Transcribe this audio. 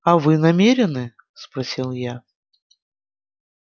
а вы намерены спросил я